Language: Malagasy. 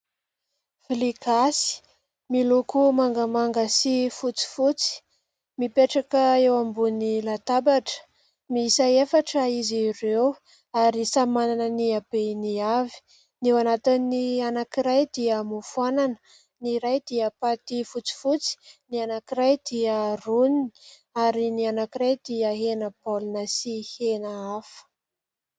Vilia gasy miloko mangamanga sy fotsifotsy, mipetraka eo ambony latabatra miisa efatra izy ireo ary samy manana ny habeny avy, ny eo anatin'ny anankiray dia mofo anana ny iray dia paty fotsifotsy ny anankiray dia roniny ary ny anankiray dia hena baolina sy hena hafa.